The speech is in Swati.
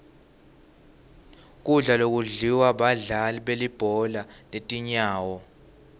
kudla lokudliwa badlali belibhola letinyawo